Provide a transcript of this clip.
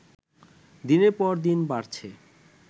দিনের পর দিন বাড়ছে